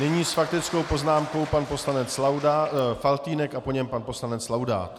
Nyní s faktickou poznámkou pan poslanec Faltýnek a po něm pan poslanec Laudát.